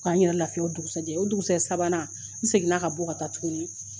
K' an yɛrɛ lafiya o dugusajɛ o dugusajɛ sabanan n seginna ka bɔ ka taa tuguni